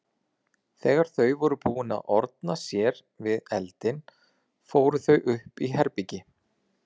Þegar þau voru búin að orna sér við eldinn fóru þau upp í herbergi.